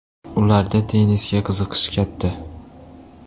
Ularda tennisga qiziqish katta.